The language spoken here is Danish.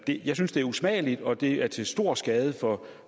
jeg synes det er usmageligt og det er til stor skade for